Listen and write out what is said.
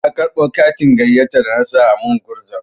Na karɓo katin gayyata da na sa a min gurza.